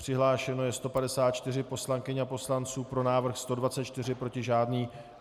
Přihlášeno je 154 poslankyň a poslanců, pro návrh 124, proti žádný.